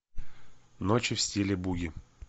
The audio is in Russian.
ночи в стиле буги